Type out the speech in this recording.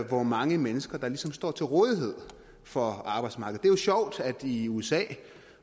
hvor mange mennesker der ligesom står til rådighed for arbejdsmarkedet jo sjovt at i usa